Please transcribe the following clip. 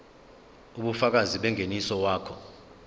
ubufakazi bengeniso wakho